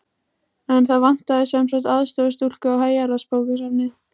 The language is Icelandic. En það vantaði sem sagt aðstoðarstúlku á Héraðsbókasafnið.